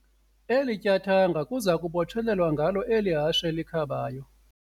Eli tyathanga kuza kubotshelelwa ngalo eli hashe likhabayo.